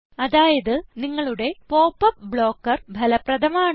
അതായത് നിങ്ങളുടെ popup blocker ഫലപ്രദമാണ്